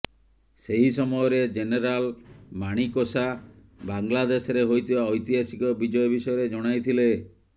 ସେହି ସମୟରେ ଜେନେରାଲ ମାଣିକସା ବାଂଲାଦେଶରେ ହୋଇଥିବା ଐତିହାସିକ ବିଜୟ ବିଷୟରେ ଜଣାଇଥିଲେ